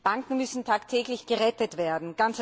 Banken müssen tagtäglich gerettet werden.